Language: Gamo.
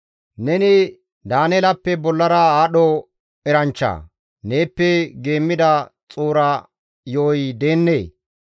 Neni Daaneelappe bollara aadho eranchchaa? Neeppe geemmida xuura yo7oy deennee?